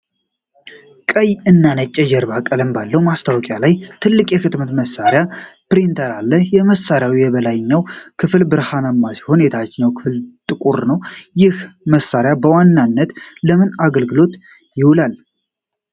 ቀይ እና ነጭ የጀርባ ቀለም ባለው ማስታወቂያ ላይ ትልቅ የህትመት መሣሪያ (ፕሪንተር) አለ። የመሣሪያው የላይኛው ክፍል ብርማ ሲሆን፣ የታችኛው ደግሞ ጥቁር ነው፤ ይህ መሣሪያ በዋናነት ለምን አገልግሎት ይውላል?